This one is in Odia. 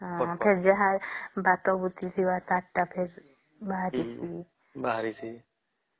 ଫେର ଭାତ ଭୂତି ଥିବା ତାଙ୍କ ଟେ ଫେର ବାହରିସିଂ